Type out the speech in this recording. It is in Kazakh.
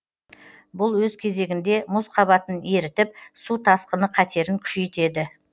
бұл өз кезегінде мұз қабатын ерітіп су тасқыны қатерін күшейтеді